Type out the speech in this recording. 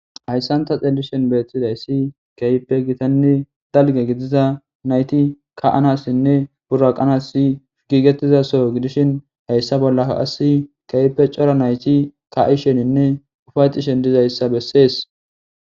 Hayssanta xelishen beeththidayssi keype gitanni dalge gidiza nayti ka anassinne bura qanasi giigetizaso gidishin hayssa bollaassi kewppe cora nayti ka7isheninne ufayxishen dizayssa bessees.